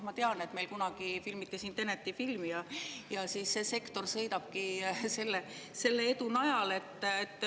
Ma tean, et meil kunagi filmiti siin filmi "Tenet", see sektor sõidabki selle edu najal.